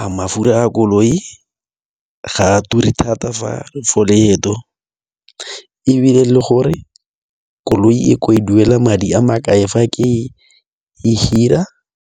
a mafura a koloi ga a ture thata for leeto ebile le gore koloi e ko e duela madi a makae fa ke e hira.